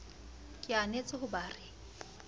ke anetse ho ba re